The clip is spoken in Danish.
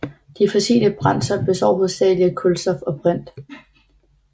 De fossile brændsler består hovedsageligt af kulstof og brint